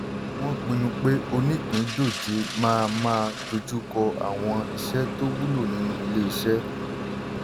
wọ́n pinnu pé onípìndòjé máa máa dojú kọ́ àwọn iṣẹ́ tó wúlò nínú ilé-iṣẹ́.